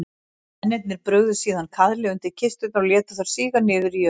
Mennirnir brugðu síðan kaðli undir kisturnar og létu þær síga niður í jörðina.